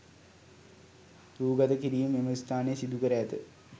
රූ ගතකිරීම් මෙම ස්ථානයේ සිදුකර ඇත.